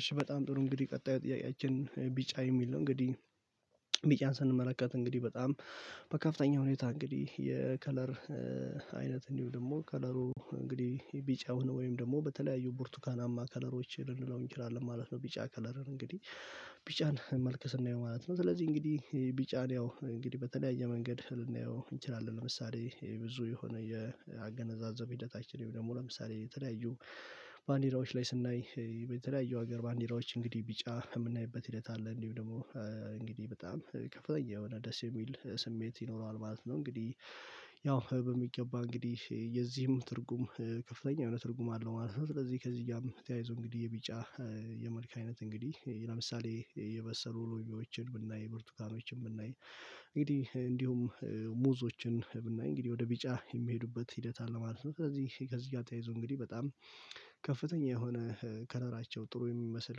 እሺ በጣም ጥሩ እንግዲህ ቀጣይ ጥያቄያችን ቢጫ የሚል ነው። እንግዲህ ቢጫን ስንመለከት እንግዲህ በጣም በከፍተኛ ሁኔታ እንግዲህ የከለር አይነት እንዲሁም ደግሞ ከለሩ እንግዲህ ቢጫውን ወይም ደግሞ በተለያዩ ቡርቱካናማ ከለሮች ልንለው እንችላለን ማለት ነው። ቢጫ ከለርን እንግዲህ ቢጫን መልከ ስናየው ማለት ነው። ስለዚህ እንግዲህ ቢጫን ያው እንግዲህ በተለያየ መንገድ ልናየው እንችላለን ለምሳሌ ብዙ የሆነ የአገነዛዘብ ሂደታችን ደግሞ ለምሳሌ የተለያዩ ባንዲራዎች ላይ ስናይ በተለያዩ ሀገር ባንዲራዎች እንግዲህ ቢጫ የምናይበት ሂደት አለ። እንዲሁም ደግሞ እንግዲህ በጣም ከፍተኛ የሆነ ደስ የሚል ስሜት ይኖረዋል ማለት ነው። እንግዲህ ያው በሚገባ እንግዲህ የዚህም ትርጉም ከፍተኛ የሆነ ትርጉም አለው ማለት ነው። ስለዚህ ከዚህጋም ተያይዞ እንግዲህ የቢጫ የመልክ አይነት እንግዲህ ለምሳሌ የበሰሉ ሎሚዎችን ብናይ ብርቱካኖችን ብናይ እንግዲህ እንዲሁም ሙዞችን ብናይ እንግዲህ ወደ ቢጫ የሚሄዱበት ሂደት አለ ማለት ነው። ስለዚህ ከዚህ ጋር ተያይዞ እንግዲህ በጣም ከፍተኛ የሆነ ከለራቸው ጥሩ የሚመስል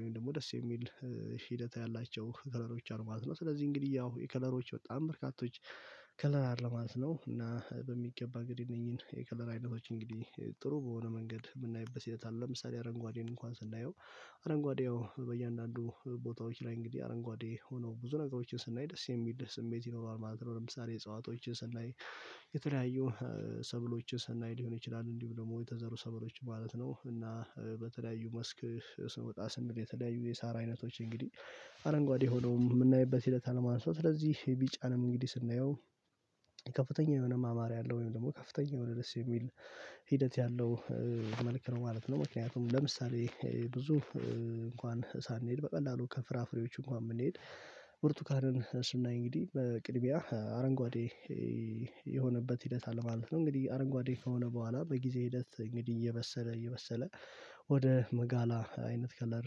ወይም ደግሞ ደስ የሚል ሂደት ያላቸው ከለሮች አሉ ማለት ነው። ስለዚህ እንግዲህ ያው የከለሮች በጣም በርካቶች ከለር አይደለም ማለት ነው። እና በሚገባ እንግዲህ እነኚህን የከለር አይነቶች እንግዲህ ጥሩ በሆነ መንገድ የምናይበት ሂደት አለ። ለምሳሌ አረንጓዴን እንኳን ስናየው አረንጓዴ ያው በእያንዳንዱ ቦታዎች ላይ እንግዲህ አረንጓዴ ሆኖ ብዙ ነገሮችን ስናይ ደስ የሚል ስሜት ይኖረዋል ማለት ነው። እጸዋቶችን ሰናይ የተለያዩ ሰብሎችን ሰናይ ሊሆን ይችላል እንዲሁ ደግሞ የተዘሩ ሰብሎች ማለት ነው። እና በተለያዩ መስክ ስንወጣ ስንል የተለያዩ የሳራ አይነቶች እንግዲህ አረንጓዴ ሆኖ የምናይበት ሂደት አለ። ማለት ስለዚህ ቢጫንም እንግዲህ ስናየው ከፍተኛ የሆነ ማማር ያለው ወይም ደግሞ ከፍተኛ የሆነ ደስ የሚል ሂደት ያለው መልክ ነው ማለት ነው። ምክንያቱም ለምሳሌ ብዙ እንኳን ሳንሄድ በቀላሉ ከፍራፍሬዎች እንኳን ብንሄድ ብርቱካንን ስናይ እንግዲህ በቅድሚያ አረንጓዴ የሆነበት ሂደት አለ ማለት ነው። እንግዲህ አረንጓዴ ከሆነ በኋላ በጊዜ ሂደት እንግዲህ እየበሰለ እየበሰለ ወደ መጋላ አይነት ከለር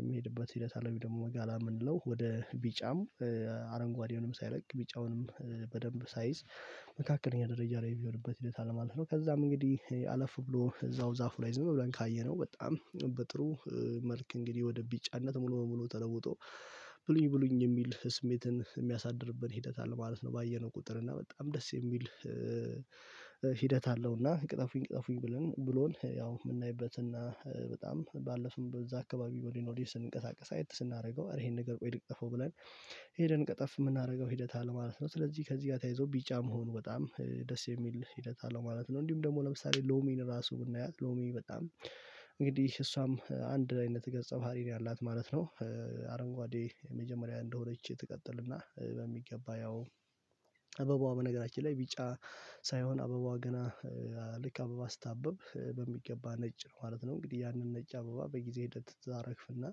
የሚሄድበት ሂደት አለብኝ። ደግሞ መጋላ የምንለው ወደ ቢጫም አረንጓዴውንም ሳይለቅ ቢጫውንም በደንብ ሳይዝ መካከለኛ ደረጃ ላይ ሚሆንበት ሂደት አለ ማለት ነው። ከዛም እንግዲህ አለፍ ብሎ እዛው ዛፉ ላይ ዝም ብለን ካየነው በጣም በጥሩ መልክ እንግዲህ ወደ ቢጫነት ሙሉ በሙሉ ተለውጦ ብሉኝ ብሉኝ የሚል ስሜትን የሚያሳድርብን ሂደት አለ ማለት ነው። ባየነው ቁጥር እና በጣም ደስ የሚል ሂደት አለው። እና ቅጠፉኝ ቅጠፉኝ ብለን ብሎን ያው የምናይበትና በጣም ባለፍን በዛ አካባቢ ወዲህ ወዲህ ስንቀሳቀስ አየት ስናደርገው ይሄን ነገር ቆይ ልቅጠፈው ብለን ሄደን ቀጠፍ የምናደርገው ሂደት አለ ማለት ነው። ስለዚህ ከዚህ ጋር ተያይዞ ቢጫ መሆን በጣም ደስ የሚል ሂደት አለው ማለት ነው። እንዲሁም ደግሞ ለምሳሌ ሎሚን ራሱ ብናያት ሎሚ በጣም እንግዲህ እሷም አንድ አይነት ገጸ ባህሪ ነው ያላት ማለት ነው። አረንጓዴ መጀመሪያ እንደሆነች ትቀጥልና በሚገባ ያው አበባዋ በነገራችን ላይ ቢጫ ሳይሆን አበባ ገና ልክ አበባ ስታብብ በሚገባ ነጭ ነው ማለት ነው። እንግዲህ ያንን ነጭ አበባ በጊዜ ሂደት ታረግፍና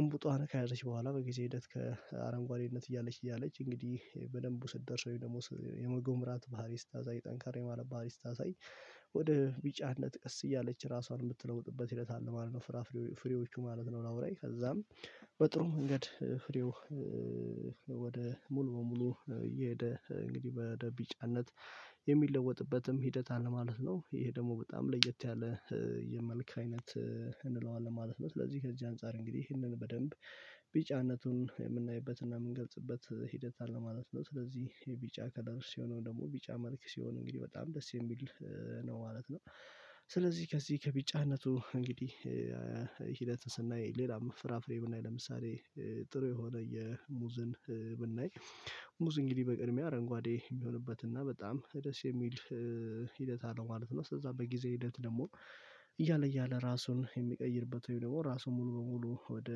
እምቡጧን ከያዘች በኋላ በጊዜ ሂደት ከአረንጓዴነት እያለች እያለች እንግዲህ በደንብ ስትደርስ ወይም ደግሞ የመጎምራት ባህሪ ስታሳይ ጠንከር የማለት ባህሪ ስታሳይ ወደ ቢጫነት ቀስ እያለች ራሷን የምትለውጥበት ሂደት አለ ማለት ነው። ፍራ ፍሬዎቹ ማለት ነው እላዩ ላይ ከዛም በጥሩ መንገድ ፍሬው ወደ ሙሉ በሙሉ እየሄደ እንግዲህ ወደቢጫነት የሚለወጥበትም ሂደት አለ ማለት ነው። ይሄ ደግሞ በጣም ለየት ያለ የመልክ አይነት እንለዋለን ነው ስለዚህ ከዚህ አንፃር እንግዲህ ይህንን በደንብ ቢጫነቱን የምናይበትና የምንገልጽበት ሂደት አለ ማለት ነው። ስለዚህ የቢጫ ከለር ሲሆነው ደግሞ ቢጫ መልክ ሲሆን እንግዲህ በጣም ደስ የሚል ነው ማለት ነው። ስለዚህ ከዚህ ከቢጫነቱ እንግዲህ ሂደት ስናይ ሌላም ፍራፍሬ ብናይ ለምሳሌ ጥሩ የሆነ የሙዝን ብናይ ሙዝ እንግዲህ በቅድሚያ አረንጓዴ የሚሆንበት እና በጣም ደስ የሚል ሂደት አለው ማለት ነው። እዛ በጊዜ ሂደት ደግሞ እያለ እያለ ራሱን የሚቀይርበት ወይም ደግሞ ራሱ ሙሉ በሙሉ ወደ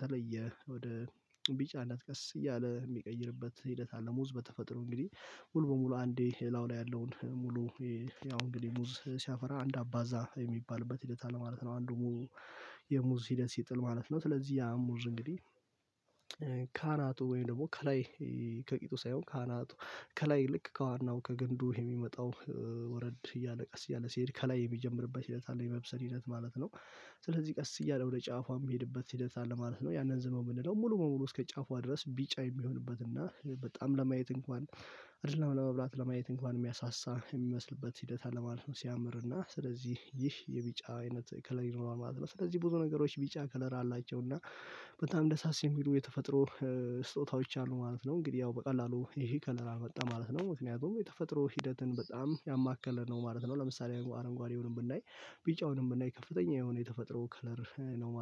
ተለየ ወደ ቢጫነት ቀስ እያለ የሚቀይርበት ሂደት አለ። ሙዝ በተፈጥሮ እንግዲህ ሙሉ በሙሉ አንዴ ላዩ ላይ ያለውን ሙሉ ያው እንግዲህ ሙዝ ሲያፈራ አንድ አባዛ የሚባልበት ሂደት አለ ማለት ነው። አንዱ ሙዝ ሂደት ሲጥል ማለት ነው። ስለዚህ ያ ሙዝ እንግዲህ ካናቱ ወይም ደግሞ ከላይ ከቂጡ ሳይሆን ከአናቱ ከላይ ልክ ከዋናው ከገንዱ የሚመጣው ወረድ እያለ ቀስ እያለ ሲሄድ ከላይ የሚጀምርበት እለት አለ የመብሰል ሂደት ማለት ነው። ስለዚህ ቀስ እያለ ወደ ጫፏ የሚሄድበት ሂደት አለ ማለት ነው። ያንን ዝም ብንለው ሙሉ በሙሉ እስከ ጫፍዋ ድረስ ቢጫ የሚሆንበት እና በጣም ለማየት እንኳን አይደለም ለመብላት ለማየት እንኳን የሚያሳሳ የሚመስልበት ሂደት አለ ማለት ሲያምርና ስለዚህ ይህ የቢጫ አይነት ከለር ይኖራል ማለት ነው። ስለዚህ ብዙ ነገሮች ቢጫ ከለራ አላቸው እና በጣም ደሳስ የሚሉ የተፈጥሮ ስጦታዎች አሉ ማለት ነው። እንግዲህ ያው በቀላሉ ይሄ ከለር መጣ ማለት ነው። ምክንያቱም የተፈጥሮ ሂደትን በጣም ያማከለ ነው ማለት ነው። ለምሳሌ አረንጓዴውንም ብናይ ቢጫውንም ብናይ ከፍተኛ የሆነ የተፈጥሮ ከለር ነው ማለት ነው